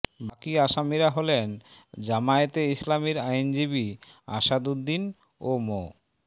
বাকি আসামিরা হলেন জামায়াতে ইসলামীর আইনজীবী আসাদ উদ্দিন ও মো